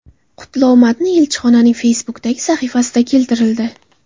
Qutlov matni elchixonaning Facebook’dagi sahifasida keltirildi .